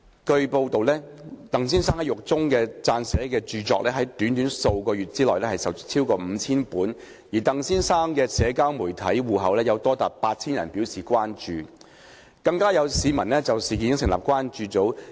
據報，鄧先生在獄中撰寫的著作在短短數月售出逾5000本，而鄧先生的社交媒體戶口有多達8000人表示關注，更有市民就事件成立關注組。